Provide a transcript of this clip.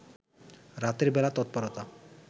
রাতের বেলা তৎপরতা